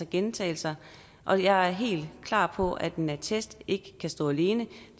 gentagelser og jeg er helt klar på at en attest ikke kan stå alene